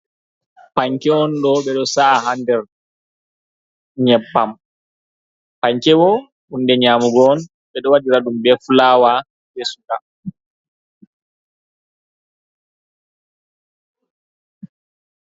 Panke on ɗo, ɓeɗo sa’ a haa nder nyebbam, panke hunde nyaamugo on ɓe ɗo waɗiraɗum bee fulaawa be suka.